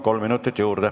Kolm minutit juurde.